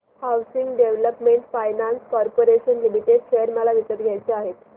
housing development finance corporation limited share मला विकत घ्यायचे आहेत